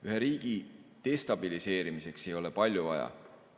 Ühe riigi destabiliseerimiseks ei ole palju vaja.